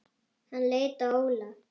Hann leit á Óla.